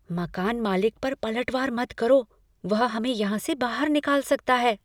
मकान मालिक पर पलटवार मत करो। वह हमें यहाँ से बाहर निकाल सकता है।